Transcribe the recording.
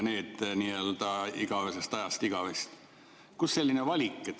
Kust selline valik?